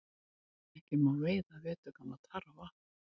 Ekki má veiða veturgamla tarfa